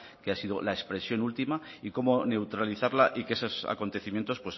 que ha sido la expresión última y cómo neutralizarla y que esos acontecimientos